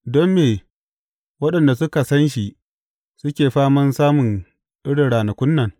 Don me waɗanda suka san shi suke faman samun irin ranakun nan?